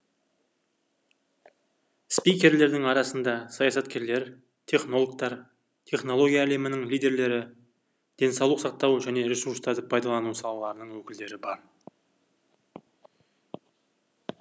спикерлердің арасында саясаткерлер технологтар технология әлемінің лидерлері денсаулық сақтау және ресурстарды пайдалану салаларының өкілдері бар